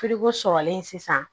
sɔrɔlen sisan